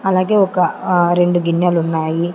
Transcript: అలాగే ఒక ఆ రెండు గిన్నెలున్నాయి.